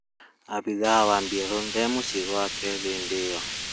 Abĩtha wa bĩrarũ ndarĩ mũcĩĩ gwake hĩndĩ ĩyo